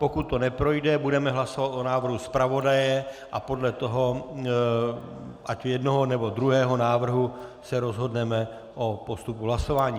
Pokud to neprojde, budeme hlasovat o návrhu zpravodaje a podle toho ať jednoho, nebo druhého návrhu se rozhodneme o postupu hlasování.